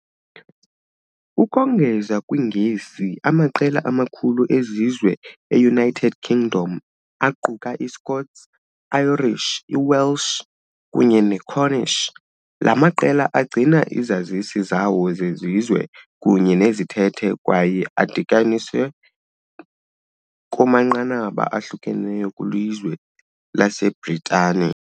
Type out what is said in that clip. Ukongeza kwiNgesi, amaqela amakhulu ezizwe e- United Kingdom aquka iScots, iIrish, iWelsh kunye neCornish . La maqela agcina izazisi zawo zesizwe kunye nezithethe, kwaye adityaniswe kumanqanaba ahlukeneyo kwilizwe laseBritane.